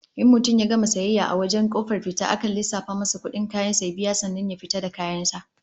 In mutum ya gama sayayyar sa a wajen kofar fita akan lissafa masa kudin kayan sa ya biya sannan ya fita da kayan sa